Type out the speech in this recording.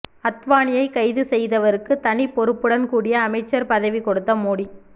அத்வானியை கைது செய்தவருக்கு தனி பொறுப்புடன் கூடிய அமைச்சர் பதவி கொடுத்த மோடி